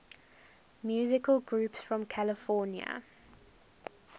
musical groups from california